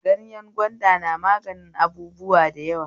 Gayen gwanda na mganin abubuwa da yawa